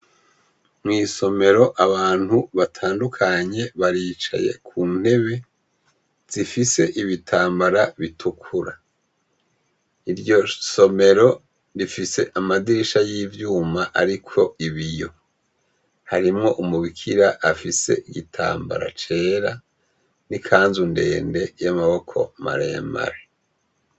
Mw'isomero, abantu batandukanye baricaye ku ntebe zifise ibitambara bitukura. Iryo somero rifise amadirisha y'ivyuma ariko ibiyo. Harimwo umubikira afise igitambara cera n'ikanzu ndende y'amaboko maremare.